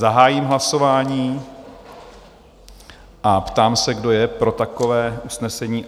Zahájím hlasování a ptám se, kdo je pro takové usnesení?